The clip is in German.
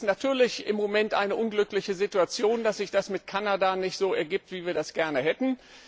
Natürlich ist es im Moment eine unglückliche Situation, dass sich das mit Kanada nicht so ergibt, wie wir es gerne hätten.